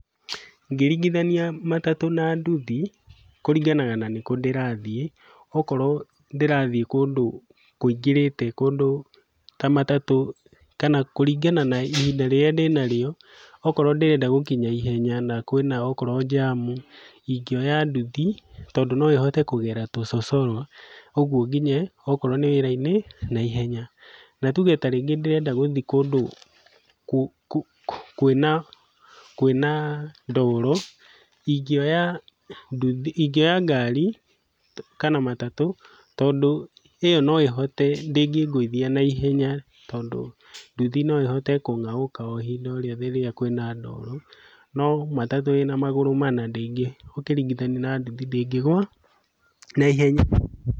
Ngĩringithania matatũ na nduthi, kũringanaga na nĩkũ ndĩrathiĩ, okorwo ndĩrathiĩ kũndũ kũingĩrĩte kũndũ ta matatũ kana kũringana na ihinda rĩrĩa ndĩnarĩo, okorwo ndĩrenda gũkinya naihenya na kwĩna okorwo njamu, ingĩoya nduthi tondũ no ĩhote kũgera tũcocoro, ũguo nginye okorwo nĩ wĩra-inĩ naihenya. Na tuge ta rĩngĩ ndĩrenda gũthiĩ kũndũ kwĩna kwĩna ndoro, ingĩoya nduthi ingĩoya ngari kana matatũ tondũ ĩyo noĩhote ndĩngĩngũithia naihenya tondũ nduthi no ĩhote kũng'aũka o ihinda o rĩothe rĩrĩa kwĩna ndoro, no matatũ ĩna magũrũ mana ndĩngĩ ũkĩringithania na nduthi ndĩngĩgwa naihenya.